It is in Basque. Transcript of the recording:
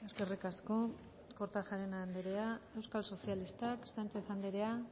eskerrik asko eskerrik asko kortajarena andrea euskal sozialistak sánchez andrea